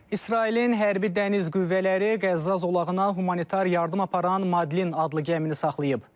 İsrailin hərbi dəniz qüvvələri Qəzza zolağına humanitar yardım aparan Madlin adlı gəmini saxlayıb.